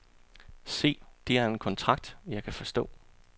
Se, det er en kontrakt, jeg kan forstå.